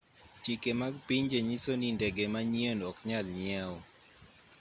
chike mag pinje nyiso ni ndege manyien ok nyal nyiew